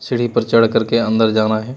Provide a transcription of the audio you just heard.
सीढ़ी पर चढ़ करके अंदर जाना है।